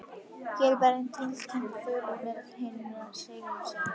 Hér er Berlín tilkynnti þulurinn með rödd hinna sigursælu.